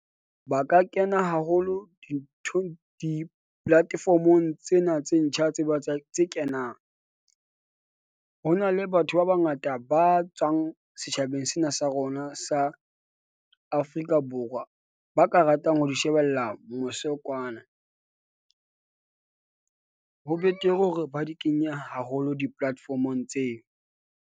Ba ka kena haholo dintho di-platform-ong tsena tse ntjha tse kenang. Ho na le batho ba bangata ba tswang setjhabeng sena sa rona sa Afrika Borwa. Ba ka ratang ho di shebella mose kwana , ho betere hore ba di kenye haholo di-platform-ong tseo.